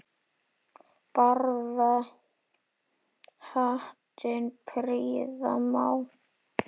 Barða hattinn prýða má.